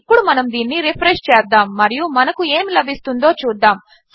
ఇప్పుడు మనము దీనిని రిఫ్రెష్ చేద్దాము మరియు మనకు ఏమి లభిస్తుందో చూద్దాము